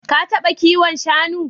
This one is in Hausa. Ka taɓa kiwon shanu?